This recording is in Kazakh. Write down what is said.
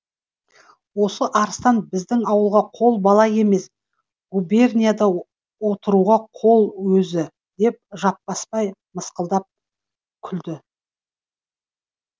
осы арыстан біздің ауылға қол бала емес губернияда отыруға қол өзі деп жаппасбай мысқылдап күлді